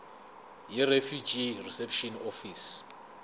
yirefugee reception office